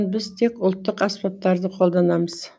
біз тек ұлттық аспаптарды қолданамыз